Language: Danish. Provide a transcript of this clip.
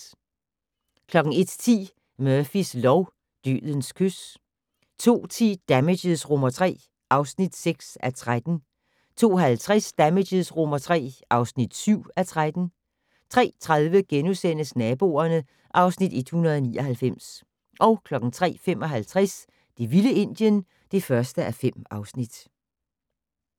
01:10: Murphys lov: Dødens kys 02:10: Damages III (6:13) 02:50: Damages III (7:13) 03:30: Naboerne (Afs. 199)* 03:55: Det vilde Indien (1:5)